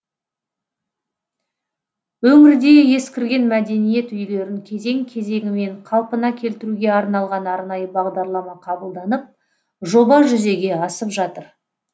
өңірде ескірген мәдениет үйлерін кезең кезеңімен қалпына келтіруге арналған арнайы бағдарлама қабылданып жоба жүзеге асып жатыр